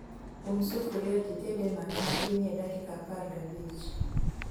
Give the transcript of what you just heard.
Um sufria tited e mach mapiny e dakika apar gabich